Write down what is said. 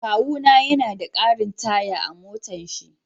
Kawuna ya na na da karin taya a motan shi.